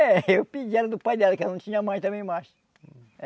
É, eu pedi ela do pai dela, que ela não tinha mãe também mais.